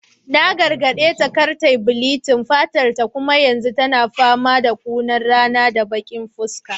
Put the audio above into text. Na gargadeta da kar ta bleaching fatarta kuma yanzu tana fama da kunar rana da baki fuska